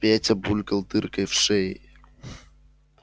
петя булькал дыркой в шее